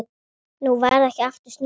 Nú varð ekki aftur snúið.